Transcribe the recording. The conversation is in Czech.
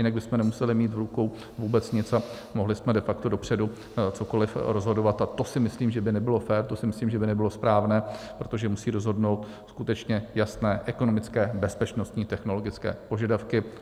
Jinak bychom nemuseli mít v rukou vůbec nic a mohli jsme de facto dopředu cokoliv rozhodovat a to si myslím, že by nebylo fér, to si myslím, že by nebylo správné, protože musí rozhodnout skutečně jasné ekonomické, bezpečnostní, technologické požadavky.